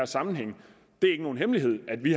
sammenhæng det er ikke nogen hemmelighed at vi